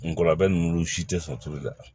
Nkɔla bɛ n'u si tɛ sɔn tulu la